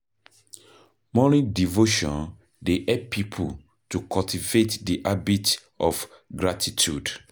Morning devotion dey help pipo to cultivate di habit of gratitude.